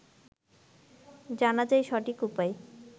জানা চাই সঠিক উপায়